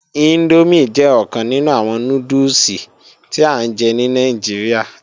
Índómì jẹ́ ọ̀kan nínú àwọn núdùsì tí à ń jẹ ní Nàìjíríà